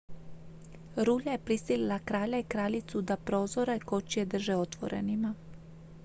rulja je prisilila kralja i kraljicu da prozore kočije drže otvorenima